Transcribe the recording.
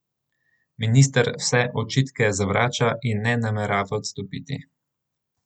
Minister vse očitke zavrača in ne namerava odstopiti.